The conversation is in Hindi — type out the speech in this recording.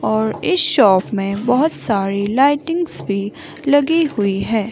और इस शॉप में बहुत सारी लाइटिंग्स भी लगी हुई है।